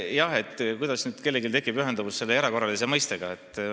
Jah, see sõltub sellest, milline ühendus kellelgi tekib selle mõistega "erakorraline".